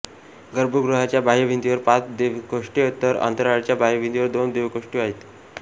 गर्भगृहाच्या बाह्यभिंतीवर पाच देवकोष्ठे तर अंतराळाच्या बाह्यभिंतीवर दोन देवकोष्ठे आहेत